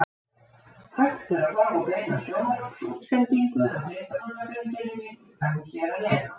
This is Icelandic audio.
Hægt er að horfa á beina sjónvarpsútsendingu af fréttamannafundinum í glugganum hér að neðan.